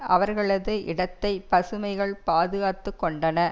அவர்களது இடத்தை பசுமைகள் பாதுகாத்துக்கொண்டன